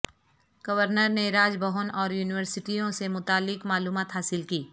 governor نے راج بھون اور یونیورسٹیوں سے متعلق معلومات حاصل کی